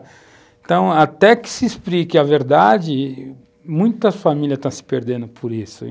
Então, até que se explique a verdade, muitas famílias estão se perdendo por isso.